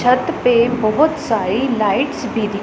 छत पे बहुत सारी लाइट्स भी दि--